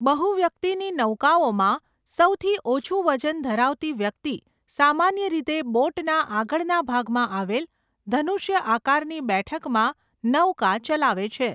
બહુ વ્યક્તિની નૌકાઓમાં, સૌથી ઓછુ વજન ધરાવતી વ્યક્તિ સામાન્ય રીતે બોટના આગળના ભાગમાં આવેલ ધનુષ્ય આકારની બેઠકમાં નૌકા ચલાવે છે.